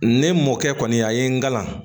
Ne mɔkɛ kɔni a ye n kalan